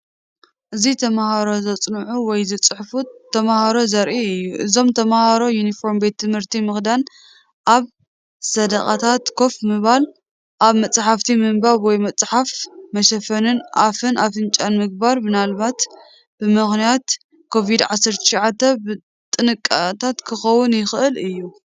እዚ ተመሃሮ ዘፅኑዑ ወይ ዝፅሕፉ ተመሃሮ ዘርኢ እዩ። እዞም ተምሃሮ ዩኒፎርም ቤት ትምህርቲ ምኽዳን ኣብ ሰደቓታት ኮፍ ምባል ኣብ መጻሕፍቲ ምንባብ ወይ ምጽሓፍ መሸፈኒ ኣፍን ኣፍንጫን ምግባር ምናልባት ብምኽንያት ኮቪድ-19 ጥንቃቐታት ክኸውን ይኽእል እዩ።